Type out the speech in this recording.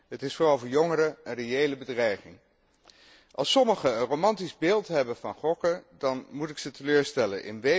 Het is vooral voor jongeren een reële bedreiging. Als sommigen een romantisch beeld hebben van gokken, dan moet ik hen teleurstellen.